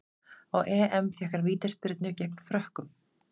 Á EM fékk hann vítaspyrnu gegn Frökkum.